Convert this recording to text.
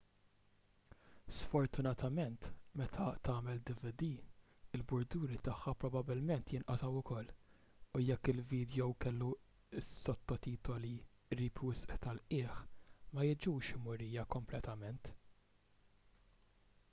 sfortunatament meta tagħmel dvd il-burduri tagħha probabbilment jinqatgħu ukoll u jekk il-vidjow kellu s-sottotitoli qrib wisq tal-qiegħ ma jiġux murija kompletament